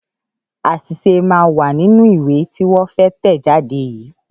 Àṣìṣe máa wà nínú ìwé tí wọ́n fẹ́ tẹ̀ jáde yìí.